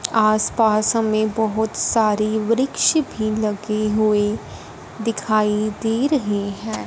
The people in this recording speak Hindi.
आस पास हमें बहुत सारे वृक्ष भी लगे हुए दिखाई दे रहे हैं।